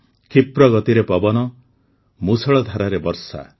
କ୍ଷିପ୍ର ଗତିରେ ପବନ ମୂସଳଧାରରେ ବର୍ଷା